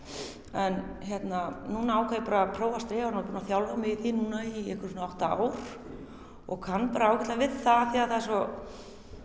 en hérna núna ákvað ég bara að prófa strigann og er búin að þjálfa mig í því í einhver svona átta ár og kann bara ágætlega við það er svo